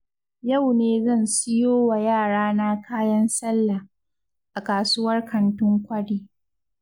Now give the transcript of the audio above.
Yau ne zan siyo wa yarana kayan sallah, a kasuwar kantin kwari.